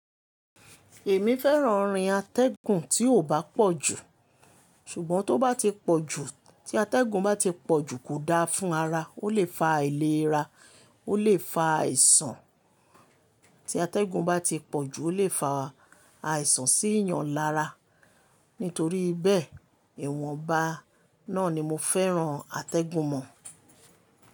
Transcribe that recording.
Èmi fẹ́ràn orin atẹ́gùn tí ò bá pọ̀ jù, ṣùgbọ́n tó bá ti pọ̀ jù, tí atẹ́gùn bá ti pọ̀ jù kò da fún ara, ó lè fa àìlera, ó lè fa àìsàn. Tí atẹ́gùn bá ti pọ̀ jù ó lè fa àìsàn sí ìyàn lára. Nítorí bẹ́ẹ̀, ìwọ̀nba náà ni mo fẹ́ràn atẹ́gùn mọ̀.